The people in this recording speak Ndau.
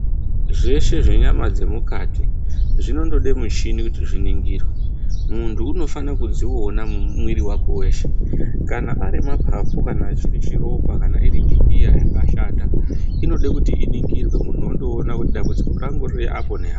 Zveshe zvenyama yemukati zvinoda michini yemukati kuti zviningirwe muntu unofana kudziona mumwiri meshe kana arimapapu kana chiri chiropa kana chingingiya chakashata inoda kuti iningirwe kuti dambudziko rake riri apo neapo.